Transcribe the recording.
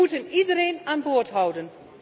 We moeten iedereen aan boord houden.